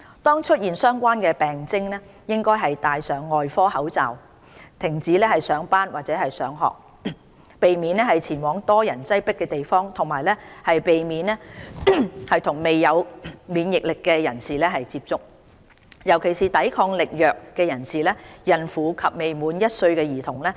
當出現相關病徵，應戴上外科口罩，停止上班或上學，避免前往人多擠迫的地方，以及避免接觸未有免疫力的人士，尤其是抵抗力弱人士、孕婦及未滿1歲的兒童。